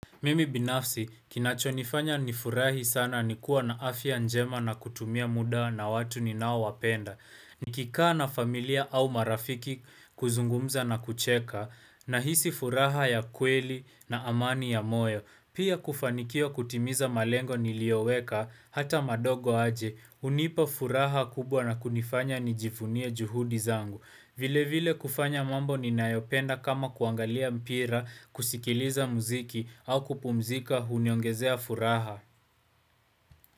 Mimi binafsi, kinachonifanya ni furahi sana ni kuwa na afya njema na kutumia muda na watu ni nao wapenda. Nikikaa na familia au marafiki kuzungumza na kucheka, nahisi furaha ya kweli na amani ya moyo. Pia kufanikiwa kutimiza malengo nilioweka hata madogo aje, hunipa furaha kubwa na kunifanya nijivunie juhudi zangu. Vile vile kufanya mambo ninayopenda kama kuangalia mpira, kusikiliza muziki au kupumzika uniongezea furaha.